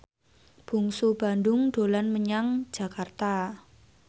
Bungsu Bandung dolan menyang Jakarta